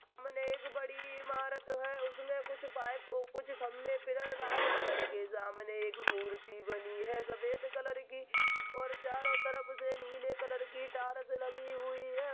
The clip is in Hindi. सामने एक बड़ी ईमारत है उसमे कुछ पाइप कुछ खम्भे पिलर लाल कलर के सामने एक मूर्ति बनी है सफेद कलर की और चारो तरफ से नीले कलर की टाइल्स लगी हुई है।